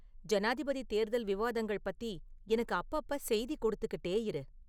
ஜனாதிபதி தேர்தல் விவாதங்கள் பத்தி எனக்கு அப்பப்ப செய்தி கொடுத்துக்கிட்டே இரு